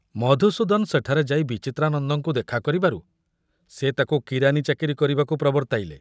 ମଧୁସୂଦନ ସେଠାରେ ଯାଇ ବିଚିତ୍ରାନନ୍ଦଙ୍କୁ ଦେଖା କରିବାରୁ ସେ ତାକୁ କିରାନୀ ଚାକିରି କରିବାକୁ ପ୍ରବର୍ତ୍ତାଇଲେ।